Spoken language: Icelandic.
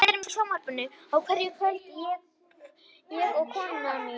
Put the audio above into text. Við erum í sjónvarpinu á hverju kvöldi, ég og konan mín.